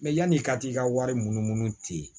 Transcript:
yan'i ka t'i ka wari munumunu ten